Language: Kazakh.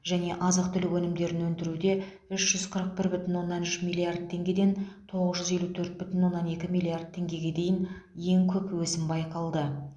және азық түлік өнімдерін өндіруде үш жүз қырық бір бүтін оннан үш миллард теңгеден тоғыз жүз елу төрт бүтін оннан екі миллард теңгеге дейін ең көп өсім байқалды